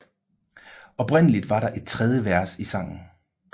Oprindeligt var der et tredje vers i sangen